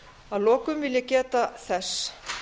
að lokum vil ég geta þess